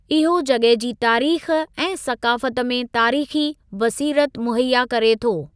इहो जॻह जी तारीख़ ऐं सक़ाफ़त में तारीख़ी बसीरत मुहैया करे थो।